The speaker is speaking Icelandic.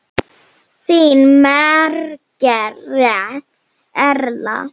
Þín Margrét Erla.